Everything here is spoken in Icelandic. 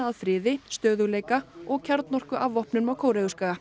að friði stöðugleika og kjarnorkuafvopnun á